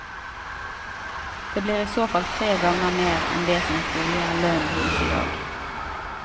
Det blir i så fall tre ganger mer enn det som trolig er lønnen hans i dag.